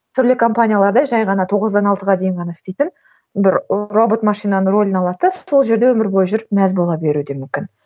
түрлі компанияларда жай ғана тоғыздан алтыға дейін ғана істейтін бір робот машинаның рөлін алады да сол жерде өмір бойы жүріп мәз бола беруі де мүмкін